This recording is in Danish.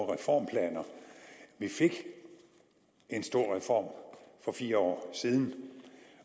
reformplaner vi fik en stor reform for fire år siden